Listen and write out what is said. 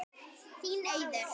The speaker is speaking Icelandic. Þín Auður.